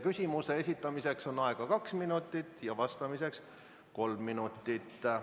Küsimuse esitamiseks on aega kaks minutit ja vastamiseks kolm minutit.